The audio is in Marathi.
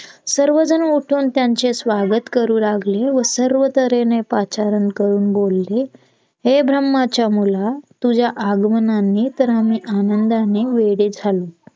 सर्वजण उठून त्यांचे स्वागत करू लागले व सर्व तर्हेने पाचारण करून बोलले हे ब्रम्हाच्या मुला तुज्या आगमनाने तर आम्ही आनंदाने वेडे झालोत